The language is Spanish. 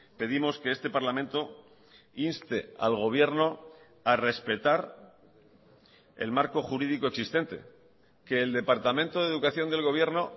pedimos que este parlamento inste al gobierno a respetar el marco jurídico existente que el departamento de educación del gobierno